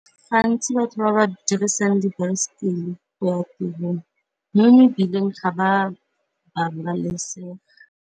Gantsi batho ba ba dirisang dibaesekele go ya tirong mo mebileng ga ba ba babalesege.